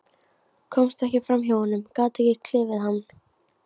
Komst ekki fram hjá honum, gat ekki klifið hann.